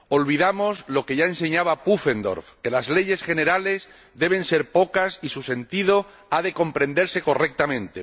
Olvidamos lo que ya enseñaba von Pufendorf, que las leyes generales deben ser pocas y su sentido ha de comprenderse correctamente.